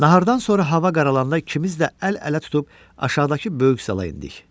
Nahardan sonra hava qaralanda ikimiz də əl-ələ tutub aşağıdakı böyük zala endik.